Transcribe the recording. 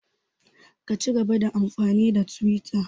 Ka cigaba da amfani da twita!